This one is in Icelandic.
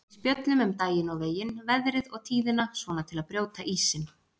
Við spjöllum um daginn og veginn, veðrið og tíðina, svona til að brjóta ísinn.